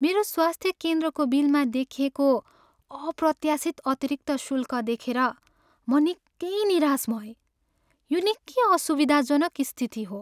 मेरो स्वास्थ्य केन्द्रको बिलमा देखिएको अप्रत्यासित अतिरिक्त शुल्कदेखेर म निकै निराश भएँ, यो निकै असुविधाजनक स्थिति हो।